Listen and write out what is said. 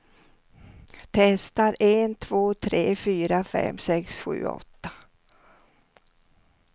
Testar en två tre fyra fem sex sju åtta.